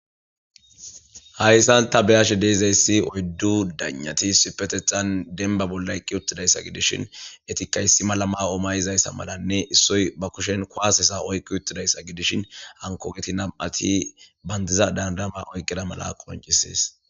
hayssan ta beyashe deezayssi oyddu danati sipetexan denba bola eqqi uttidayssa gidishin etikayssi malama omayizayssa malanne issoy ba kushen koaasesa oykki uttidayssa gidishin hankogeti nam7ati bandiza dandama oyqqida mala qoncisees